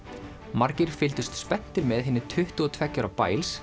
margir fylgdust spenntir með hinni tuttugu og tveggja ára